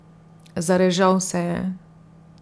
Zarežal se je.